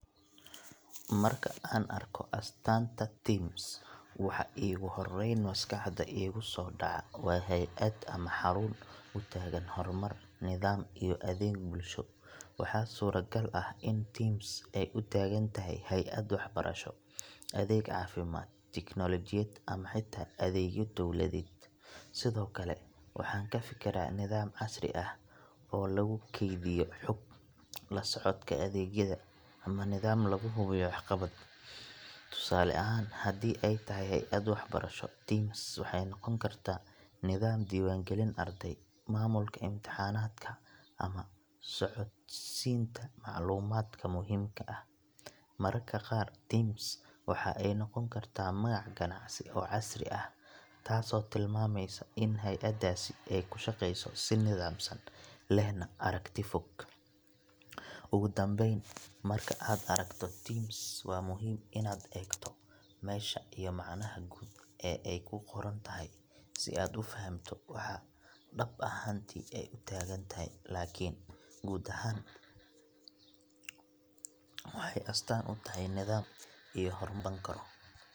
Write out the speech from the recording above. Marka aan arko astaanta TIMS, waxa iigu horrayn maskaxda iigu soo dhaca waa hay’ad ama xarun u taagan horumar, nidaam iyo adeeg bulsho. Waxaa suuragal ah in TIMS ay u taagan tahay hay’ad waxbarasho, adeeg caafimaad, tiknoolajiyad ama xitaa adeegyo dawladeed. Sidoo kale, waxaan ka fekeraa nidaam casri ah oo lagu kaydiyo xog, la socodka adeegyada, ama nidaam lagu hubiyo waxqabad. Tusaale ahaan, haddii ay tahay hay’ad waxbarasho, TIMS waxay noqon kartaa nidaam diiwaangelin arday, maamulka imtixaanaadka, ama socodsiinta macluumaadka muhiimka ah. Mararka qaar, TIMS waxa ay noqon kartaa magac ganacsi oo casri ah, taasoo tilmaamaysa in hay’addaasi ay ku shaqayso si nidaamsan, lehna aragti fog. Ugu dambeyn, marka aad aragto TIMS, waa muhiim inaad eegto meesha iyo macnaha guud ee ay ku qoran tahay, si aad u fahamto waxa dhab ahaantii ay u taagan tahay. Laakiin guud ahaan, waxay astaan u tahay nidaam, adeeg, iyo horumar la taaban karo.